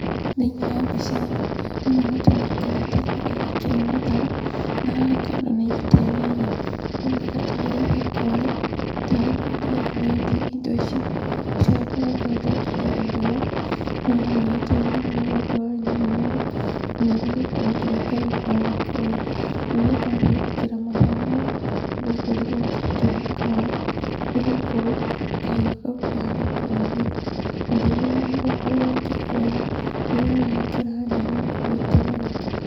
Thĩiniĩ wa mbica ĩno, ndĩrona mũtumia aikarĩte thĩ agĩkera matharũ, na haha kando nĩaigĩte nyanya. Aroneka tarĩ thoko arĩ, tarĩ kwendia arendia indo ici. Rita rĩakwa rĩa mbere ndekire ũndũ ũyũ, nĩwanogetie mũno nĩgũkorwo warĩ na mĩnoga, ona nĩgũkorwo nginya kahiũ karĩ kogĩ, rĩrĩa ndathire gũkera matharũ mau, nĩndakorirwo ngĩtema kara nĩgũkorwo kahiũ kau karĩ kogĩ. Mathĩna marĩa mũndũ akoragwo akĩgerera rĩrĩa arakera nyeni, nĩgwĩtemanga.